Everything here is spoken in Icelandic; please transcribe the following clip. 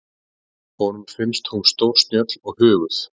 Honum finnst hún stórsnjöll og huguð.